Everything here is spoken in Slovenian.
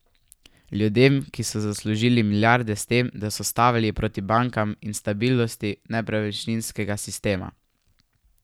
Ljudem, ki so zaslužili milijarde s tem, da so stavili proti bankam in stabilnosti nepremičninskega sistema.